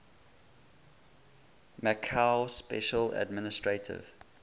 macau special administrative